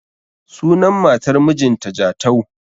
Sunan matar mijin ta Jatau